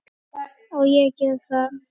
Á ég að gera það?